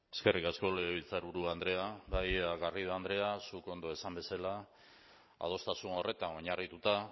eskerrik asko legebiltzarburu andrea bai garrido andrea zuk ondo esan bezala adostasun horretan oinarrituta